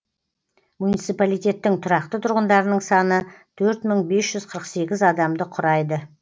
муниципалитеттің тұрақты тұрғындарының саны төрт мың бес жүз қырық сегіз адамды құрайды